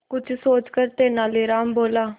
कुछ सोचकर तेनालीराम बोला